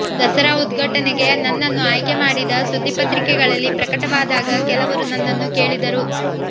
ದಸರಾ ಉದ್ಘಾಟನೆಗೆ ನನ್ನನ್ನು ಆಯ್ಕೆ ಮಾಡಿದ ಸುದ್ದಿ ಪತ್ರಿಕೆಗಳಲ್ಲಿ ಪ್ರಕಟವಾದಾಗ ಕೆಲವರು ನನ್ನನ್ನು ಕೇಳಿದರು